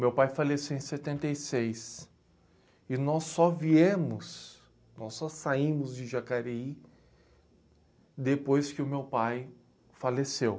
Meu pai faleceu em setenta e seis e nós só viemos, nós só saímos de Jacareí depois que o meu pai faleceu.